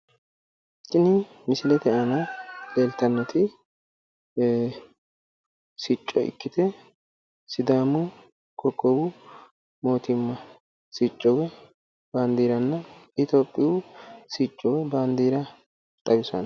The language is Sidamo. Kuni misilete la'neemmoti sicco ikkite sidaamu sicconna Ethiopiyu sicco ikkasi xawisano